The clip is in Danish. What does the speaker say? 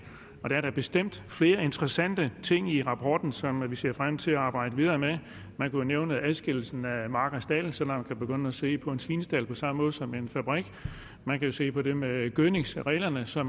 og der er da bestemt flere interessante ting i rapporten som vi ser frem til at arbejde videre med man kan nævne adskillelsen af mark og stald så man kan begynde at se på en svinestald på samme måde som en fabrik man kan se på det med gødningsreglerne så